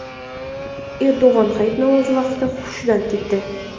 Erdo‘g‘on hayit namozi vaqtida hushidan ketdi.